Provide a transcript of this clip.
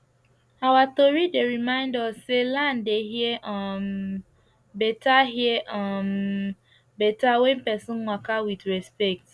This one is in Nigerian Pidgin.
our tori dey remind us say land dey hear um better hear um better when person waka with respect